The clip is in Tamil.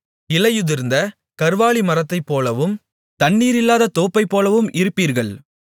இலையுதிர்ந்த கர்வாலிமரத்தைப் போலவும் தண்ணீரில்லாத தோப்பைப்போலவும் இருப்பீர்கள்